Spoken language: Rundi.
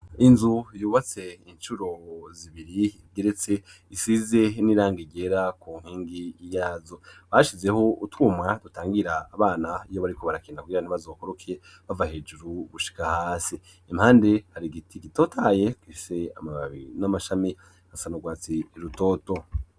Inzu yubatse incuro zibiri geretse isize n'iranga iryera ku nkingi yazo bashizeho utumwa dutangira abana iyo bariko barakenda kugirantibazokoroke bava hejuru gushika hasi impande hari igiti gitotaye kfise amababi n'amashami asanaurwatsi i rutoto.